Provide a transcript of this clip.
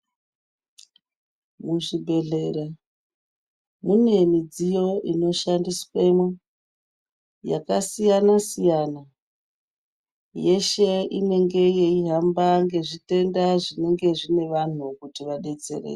Muzvibhedhlera mune midziyo inoshandiswemwo yakasiyana siyana, yese inenge yeihamba ngezvitenda zvinenge zvine vanhu kuti vadetsereke.